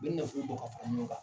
U bɛ nafolo bɔ ka fara ɲɔgɔn kan.